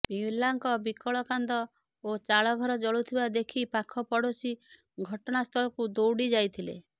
ପିଲାଙ୍କ ବିକଳ କାନ୍ଦ ଓ ଚାଳ ଘର ଜଳୁଥିବା ଦେଖି ପାଖ ପଡ଼ୋଶୀ ଘଟଣାସ୍ଥଳକୁ ଦୌଡ଼ି ଯାଇଥିଲେ